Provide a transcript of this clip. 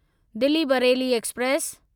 Delhi Bareilly express